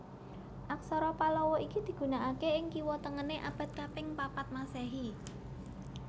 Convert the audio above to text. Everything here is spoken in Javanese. Aksara Pallawa iki digunakaké ing kiwa tengené abad kaping papat Masèhi